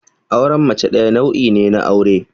Auren mace ɗaya nau'i ne na aure.